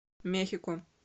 мехико